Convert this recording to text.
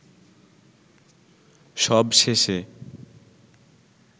সবশেষে